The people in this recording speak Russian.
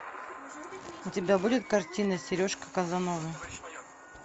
у тебя будет картина сережка казанова